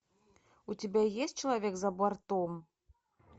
у тебя есть человек за бортом